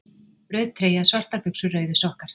Rauð treyja, Svartar buxur, Rauðir sokkar